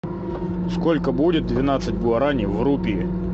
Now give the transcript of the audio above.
сколько будет двенадцать гуарани в рупии